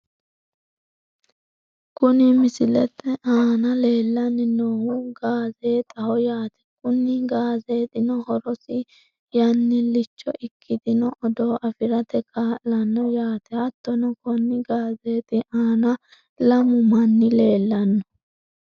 Kuni misilete aana leellanni noohu gaazeexaho yaate, kunnni gaazeexitino horosi yannillicho ikkitino odoo afirate ka'lanno yaate, hattono konni gaazeexi aana lamu manni leellanno.